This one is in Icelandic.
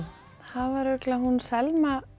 það var örugglega Selma